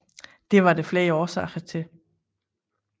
Det var der flere årsager til